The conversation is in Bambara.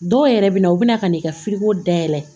Dɔw yɛrɛ bɛ na u bɛna ka n'i ka dayɛlɛ